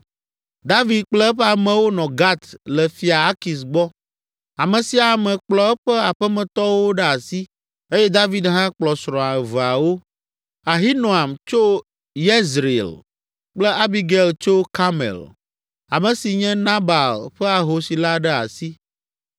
David kple eƒe amewo nɔ Gat le fia Akis gbɔ. Ame sia ame kplɔ eƒe aƒemetɔwo ɖe asi eye David hã kplɔ srɔ̃a eveawo: Ahinoam tso Yezreel kple Abigail tso Karmel, ame si nye Nabal ƒe ahosi la ɖe asi.